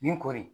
Nin ko de